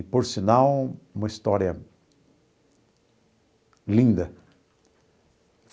E, por sinal, uma história linda.